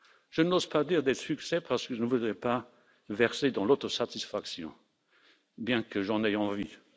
Je n'ose pas dire des succès parce que je ne voudrais pas verser dans l'autosatisfaction, bien que j'en aie envie.